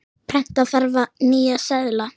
Prenta þarf nýja seðla.